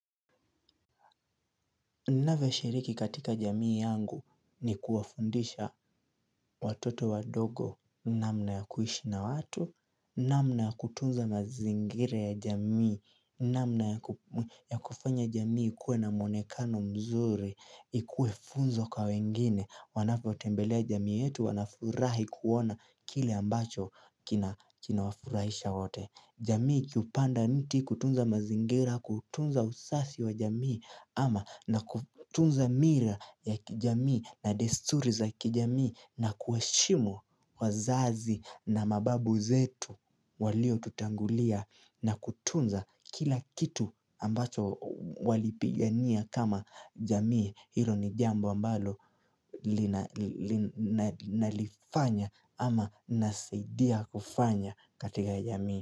Navoshiriki katika jamii yangu ni kuwafundisha. Watoto wadogo namna ya kuishi na watu, namna ya kutunza mazingire ya jamii, namna ya kufanya jamii ikuwe na monekano mzuri, ikuwe funzo kwa wengine wanapotembelea jamii yetu wanafurahi kuona kile ambacho kinawafurahisha wote. Jamii ikiupanda mti kutunza mazingira kutunza usasi wa jamii ama na kutunza mira ya kijamii na desturi za kijamii na kuheshimu wazazi na mababu zetu waliotutangulia na kutunza kila kitu ambacho walipigania kama jamii hilo ni jambo ambalo nalifanya ama nasaidia kufanya katika jamii.